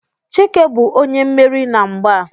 Chike bu onye mmeri na mgba a